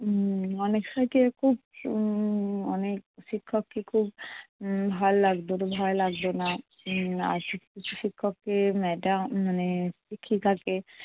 উম অনেক সময় কী উম অনেক শিক্ষককে খুব উম ভাল লাগতো, তো ভয় লাগতো না। উম শিক্ষক শিক্ষককে madam মানে শিক্ষিকাকে